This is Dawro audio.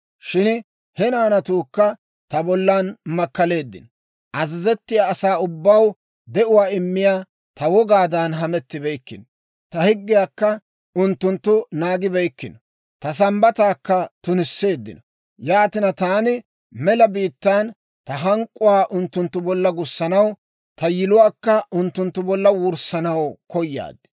« ‹Shin he naanatuukka ta bollan makkaleeddino; azazettiyaa asaa ubbaw de'uwaa immiyaa ta wogaadan hamettibeykkino; ta higgiyaakka unttunttu naagibeykkino; ta Sambbataakka tunisseeddino. Yaatina, taani mela biittaan ta hank'k'uwaa unttunttu bolla gussanaw, ta yiluwaakka unttunttu bolla wurssanaw koyaad.